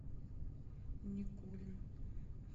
никулин